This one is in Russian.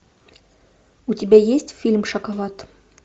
у тебя есть фильм шоколад